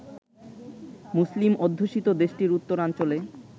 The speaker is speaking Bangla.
মুসলিম অধ্যুষিত দেশটির উত্তরাঞ্চলে